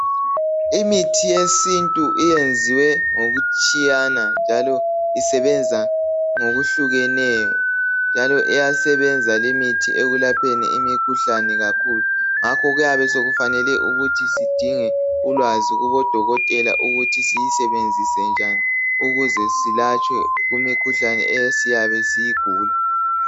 Imithi yesintu iyenziwe ngokutshiyana njalo isebenza ngokwehlukeneyo njalo iyasebenza limithi ekulapheni imikhuhlane kakhulu ngakho kuyabe sokufanele ukuthi sidinga ulwazi kumadokotela ukuthi siyisebenzise njani ukuze selatshwe kumikhuhlane esiyabe siyigula